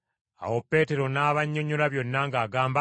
Awo Peetero n’abannyonnyola byonna ng’agamba